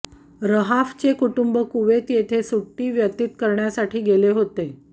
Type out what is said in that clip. रहाफचे कुटुंब कुवेत येथे सुटी व्यतित करण्यासाठी गेले होते